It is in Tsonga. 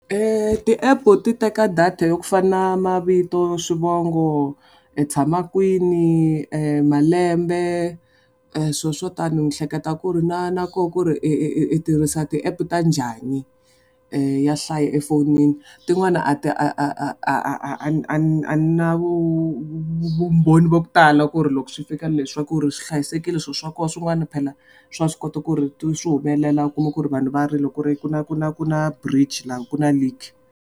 Ti-epu ti teka data yo ku fana na mavito, swivongo, i tshama kwini, malembe, swilo swo tani ni hleketa ku ri na na koho ku ri i i i tirhisa ti-apu ta njani ya hlaya efonini. Tin'wana a ti a a a a a ni na vumbhoni bya ku tala ku ri loko swi fika leswi swa ku ri swi hlayisekile swilo swa koho, swin'wana phela, swa swi kota ku ri swi humelela u kuma ku ri loko vanhu va ri loko ku ri ku na ku na ku na bridge la ku na leak.